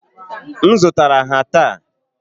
M zụtara ha taa.